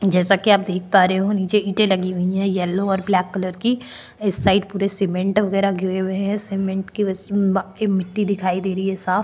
जैसा की आप देख पा रहे हो नीचे ईंटे लगी हुई है येलो और ब्लैक कलर की इस साइड पूरे सीमेंट वगैरा गिरे हुए है सीमेंट की मिटटी दिखाई दे रही है साफ़।